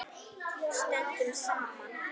Stöndum saman.